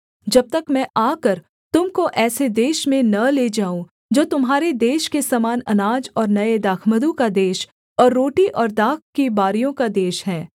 जब तक मैं आकर तुम को ऐसे देश में न ले जाऊँ जो तुम्हारे देश के समान अनाज और नये दाखमधु का देश और रोटी और दाख की बारियों का देश है